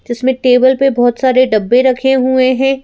जिसमें टेबल पे बहुत सारे डब्बे रखे हुए हैं।